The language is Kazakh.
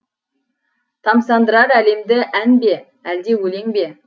тамсандырар әлемді ән бе әлде өлең бе